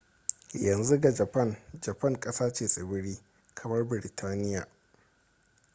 yanzu ga japan japan ƙasa ce tsibiri kamar biritaniya